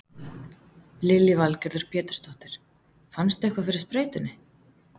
Lillý Valgerður Pétursdóttir: Fannstu eitthvað fyrir sprautunni?